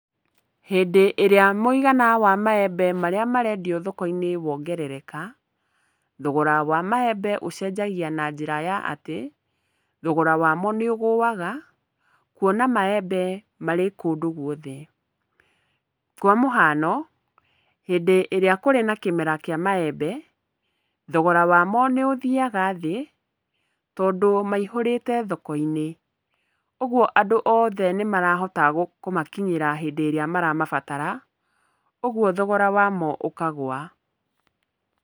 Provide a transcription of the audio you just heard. Hĩndĩ ĩrĩa mũigana wa maembe marĩa marendio thoko-inĩ wongerereka, thogora wa maembe ũcenjagia na njĩra ya atĩ, thogora wamo nĩ ũgũaga, kuona maembe marĩ kũndũ guothe. Kwa mũhano, hĩndĩ ĩrĩa kũrĩ na kĩmera kĩa maembe, thogora wamo nĩ ũthiaga thĩ, tondũ maihũrĩte thoko-inĩ. Ũguo andũ othe nĩ marahota kũmakinyĩra hĩndĩ ĩrĩa maramabatara, ũguo thogora wamo ũkagũa.